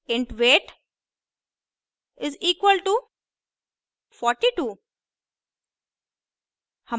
int weight is equal to 42